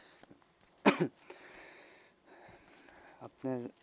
আপনার,